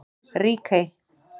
Ríkey